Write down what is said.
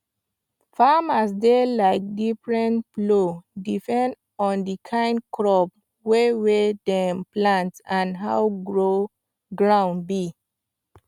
farmers dey like different plow depend on the kind crop wey wey dem plant and how ground be